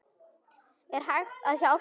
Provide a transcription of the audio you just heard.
Er hægt að hjálpa?